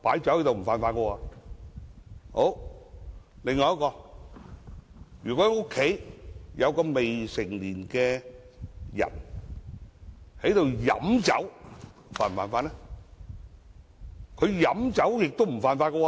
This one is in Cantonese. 另一方面，如果家中有未成年人飲酒，他們是否犯法呢？